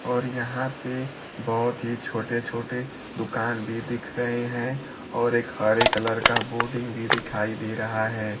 और यहां पे बहुत ही छोटे छोटे दुकान भी दिख रहे हैं और एक हरे कलर का बोर्डिंग भी दिखाई दे रहा है।